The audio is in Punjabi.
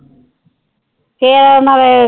ਫਿਰ ਨਾਲੇ,